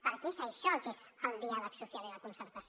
perquè és això el que és el diàleg social i la concertació